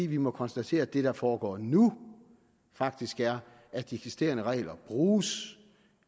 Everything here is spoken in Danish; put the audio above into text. vi må konstatere at det der foregår nu faktisk er at de eksisterende regler bruges